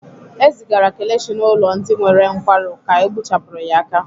E zigara Kelechi n'ụlọ ndị nwere nkwarụ ka egbupụchara ya aka.